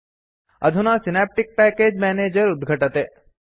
अधुना synaptic package manager उद्घटते